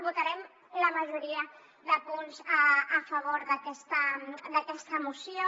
votarem la majoria de punts a favor d’aquesta moció